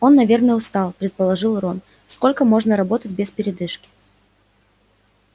он наверное устал предположил рон сколько можно работать без передышки